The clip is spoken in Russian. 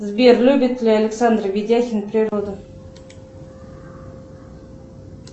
сбер любит ли александр видяхин природу